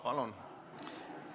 Palun!